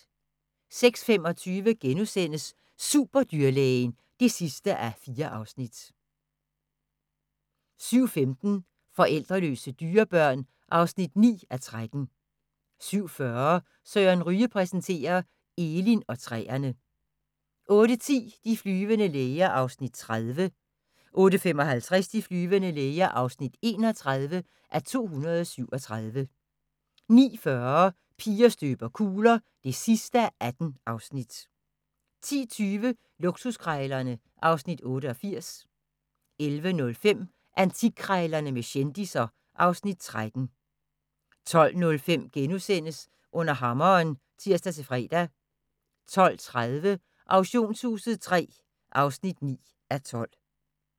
06:25: Superdyrlægen (4:4)* 07:15: Forældreløse dyrebørn (9:13) 07:40: Søren Ryge præsenterer – Elin og træerne 08:10: De flyvende læger (30:237) 08:55: De flyvende læger (31:237) 09:40: Piger støber kugler (18:18) 10:20: Luksuskrejlerne (Afs. 88) 11:05: Antikkrejlerne med kendisser (Afs. 13) 12:05: Under hammeren *(tir-fre) 12:30: Auktionshuset III (9:12)